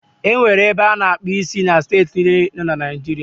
E nwere ebe a na-akpụ isi na steeti niile dị na Naịjiria.